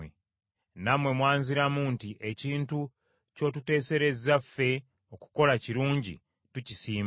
Nammwe mwanziramu nti, ‘Ekintu ky’otuteeserezza ffe okukola kirungi tukisiima.’